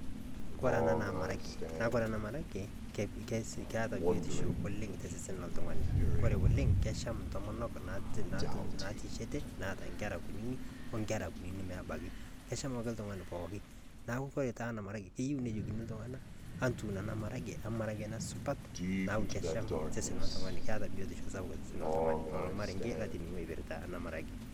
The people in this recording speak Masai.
Kore enaa naa marage na kore marege keeta biotisho oleng te sesen lo ltung'ani. Kore oleng kechaam naitishetee neeta nkerra nkunini ore nkerra kunini maabaki. Keshaam ake ltung'ani pooki. Naaku kore taa ana marege keiyeu neijokini ltung'ana atuun taa kuna marege ama marenge supaat naaku keshaam sesen. Keeta biotisho sapuk te sesen le ltung'ani. Lolo marenge latining'o eipirta ena marage.